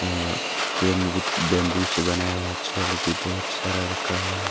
और cane wood bamboo से बनाया हुआ चेयर लोग भी बहुत सारा रखा हुआ है।